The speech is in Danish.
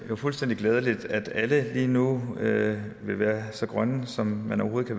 fuldstændig glædeligt at alle lige nu vil være så grønne som man overhovedet